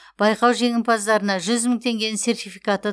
байқау жеңімпаздарына жүз мың теңгенің сертификаты